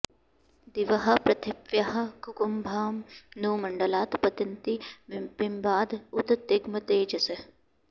दिवः पृथिव्याः ककुभां नु मण्डलात् पतन्ति बिम्बाद् उत तिग्मतेजसः